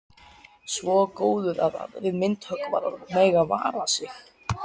Svo góður að aðrir myndhöggvarar mega vara sig.